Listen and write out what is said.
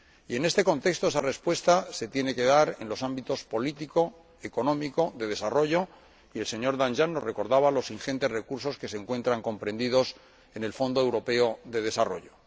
En este contexto, esa respuesta se tiene que dar en los ámbitos político, económico y de desarrollo, y el señor Danjean nos recordaba los ingentes recursos que se encuentran comprendidos en el Fondo Europeo de Desarrollo.